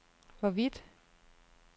hvorvidt